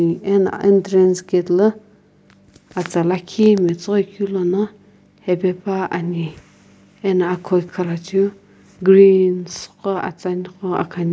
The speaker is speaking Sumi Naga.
ana entrance gate la atsa lakhi matsoghoi keu lono hae pane ano slow khalacheu green atsane gho ithulu ane.